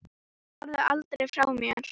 Farðu aldrei frá mér.